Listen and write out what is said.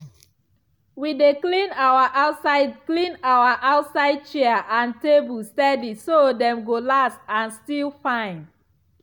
we dey clean our outside clean our outside chair and table steady so dem go last and still fine.